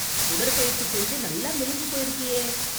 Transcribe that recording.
உடற்பயிற்சி செஞ்சு நல்லா மெலிஞ்சு போயிருக்கியே.